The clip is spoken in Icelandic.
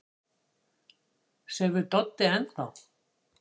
Sefur Doddi enn þá?